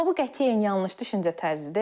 Amma bu qətiyyən yanlış düşüncə tərzidir.